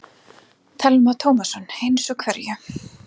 Telma Tómasson: Eins og hverju?